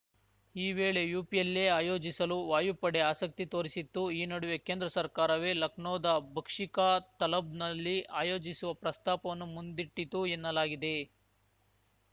ಈ ವೇಳೆ ಯುಪಿಯಲ್ಲೇ ಆಯೋಜಿಸಲು ವಾಯುಪಡೆ ಆಸಕ್ತಿ ತೋರಿಸಿತ್ತು ಈ ನಡುವೆ ಕೇಂದ್ರ ಸರ್ಕಾರವೇ ಲಖನೌದ ಬಕ್ಷೀ ಕಾ ತಲಬ್‌ನಲ್ಲಿ ಆಯೋಜಿಸುವ ಪ್ರಸ್ತಾಪವನ್ನು ಮುಂದಿಟ್ಟಿತು ಎನ್ನಲಾಗಿದೆ